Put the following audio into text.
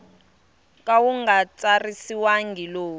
ka wu nga tsariwangi lowu